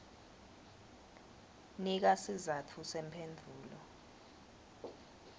nika sizatfu semphendvulo